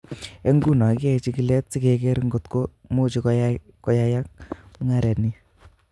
Eng nguno kiyae chigilet sikeker kotko muchi koyayak mungaret ni.